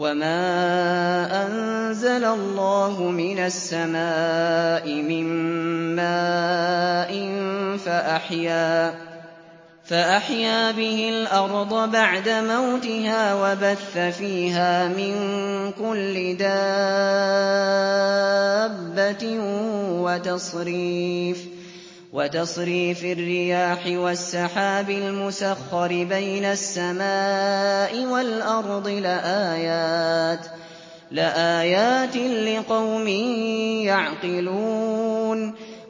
وَمَا أَنزَلَ اللَّهُ مِنَ السَّمَاءِ مِن مَّاءٍ فَأَحْيَا بِهِ الْأَرْضَ بَعْدَ مَوْتِهَا وَبَثَّ فِيهَا مِن كُلِّ دَابَّةٍ وَتَصْرِيفِ الرِّيَاحِ وَالسَّحَابِ الْمُسَخَّرِ بَيْنَ السَّمَاءِ وَالْأَرْضِ لَآيَاتٍ لِّقَوْمٍ يَعْقِلُونَ